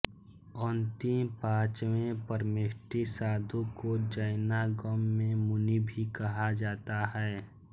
अंतिम पाँचवें परमेष्ठी साधु को जैनागम में मुनि भी कहा जाता है